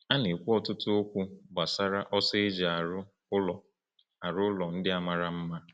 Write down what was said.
A na-ekwu ọtụtụ okwu gbasara ọsọ eji arụ ụlọ arụ ụlọ ndị a mara mma.